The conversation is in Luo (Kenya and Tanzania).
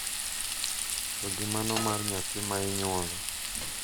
To gi mano mar nyathi ma inyuolo.